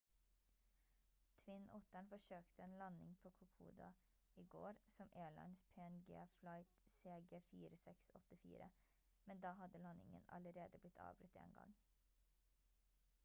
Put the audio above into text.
twin otteren forsøkte en landing på kokoda i går som airlines png flight cg4684 men da hadde landingen allerede blitt avbrutt en gang